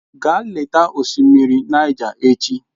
Gaa leta osimiri Niger echi!